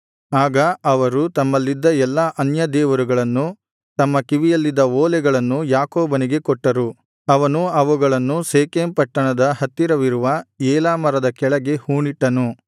ಆಗ ಅವರು ತಮ್ಮಲ್ಲಿದ್ದ ಎಲ್ಲಾ ಅನ್ಯ ದೇವರುಗಳನ್ನು ತಮ್ಮ ಕಿವಿಯಲ್ಲಿದ್ದ ಓಲೆಗಳನ್ನು ಯಾಕೋಬನಿಗೆ ಕೊಟ್ಟರು ಅವನು ಅವುಗಳನ್ನು ಶೆಕೆಮ್ ಪಟ್ಟಣದ ಹತ್ತಿರವಿರುವ ಏಲಾ ಮರದ ಕೆಳಗೆ ಹೂಣಿಟ್ಟನು